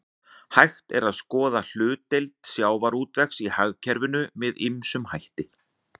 Hægt er að skoða hlutdeild sjávarútvegs í hagkerfinu með ýmsum hætti.